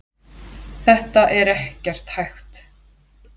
Þetta er ekkert hægt.